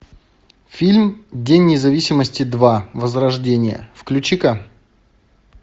фильм день независимости два возрождение включи ка